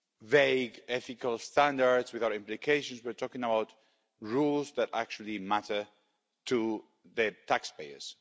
vague ethical standards without implications, we're talking about rules that actually matter to the taxpayers.